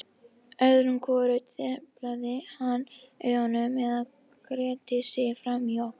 Öðru hvoru deplaði hann augunum eða gretti sig framan í okkur.